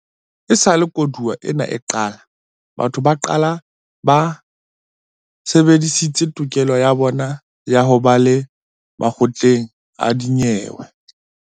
Esale koduwa ena e qala, batho ba bangata ba sebedisitse tokelo ya bona ya ho leba makgotleng a dinyewe.